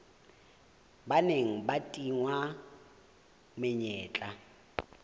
ba neng ba tingwa menyetla